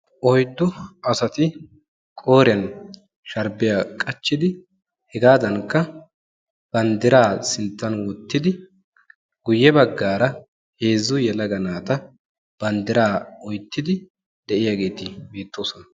Oyddu asati qooriyan sharbbiya qachchidi hegadankka banddira sinttan wottidi guyye baggaara heezzu yelaga naata banddira oyttiidi de'iyaageeti beettoosona.